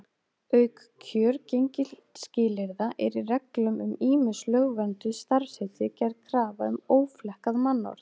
Auk kjörgengisskilyrða er í reglum um ýmis lögvernduð starfsheiti gerð krafa um óflekkað mannorð.